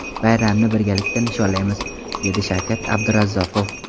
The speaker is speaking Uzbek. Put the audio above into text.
Bayramni birgalikda nishonlaymiz, dedi Shavkat Abdurazzoqov.